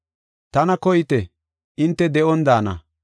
“Tana koyite; hinte de7on daana.